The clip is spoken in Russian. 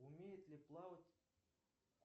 умеет ли плавать